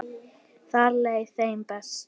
Þar leið þeim best.